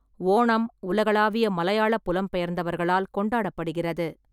ஓணம் உலகளாவிய மலையாள புலம்பெயர்ந்தவர்களால் கொண்டாடப்படுகிறது.